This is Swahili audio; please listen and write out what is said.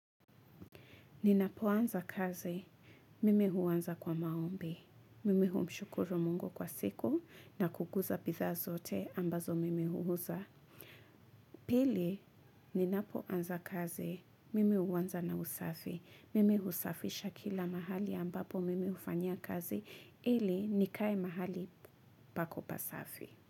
Ninapoanza kazi, mimi huanza kwa maombi. Mimi humshukuru Mungu kwa siku na kukuza bidhaa zote ambazo mimi huuza. Pili, ninapoanza kazi, mimi huanza na usafi. Mimi husafisha kila mahali ambapo mimi hufanyia kazi ili nikae mahali pako pasafi.